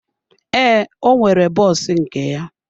Ee, ọ nwere bọs nke ya.